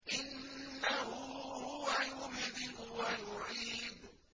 إِنَّهُ هُوَ يُبْدِئُ وَيُعِيدُ